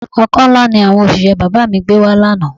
Ọkọ́ ńlá ni àwọn òṣìṣẹ́ bàbá mi gbé wa lánàá